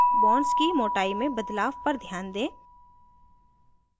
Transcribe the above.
bonds की मोटाई में बदलाव पर ध्यान दें